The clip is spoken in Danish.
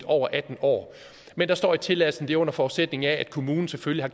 over atten år men der står i tilladelsen det under forudsætning af at kommunen selvfølgelig